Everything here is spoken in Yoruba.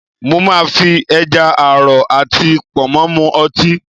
Mo máa fi ẹja àrọ̀ àti Pọ̀nmọ́ mu ọtí